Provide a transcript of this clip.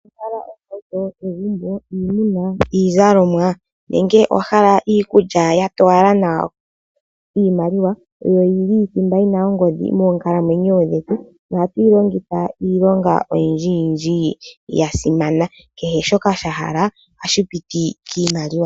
Owa hala ohauto, egumbo, iinima, iizalomwa nenge owa hala iikulya ya towala nawa? Iimaliwa oyo yili thimba yi na ongodhi moonkalamwenyo dhetu nohatu yi longitha iilonga oyindjiyindji ya simana. Kehe shoka wa hala ohashi piti kiimaliwa.